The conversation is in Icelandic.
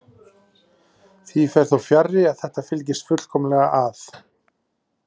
Því fer þó fjarri að þetta fylgist fullkomlega að.